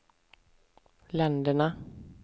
länderna